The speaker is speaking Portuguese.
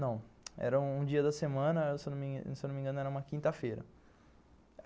Não, era um dia da semana, se eu não me engano, era uma quinta-feira.